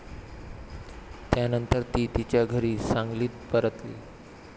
त्यानंतर ती तिच्या घरी सांगलीत परतली.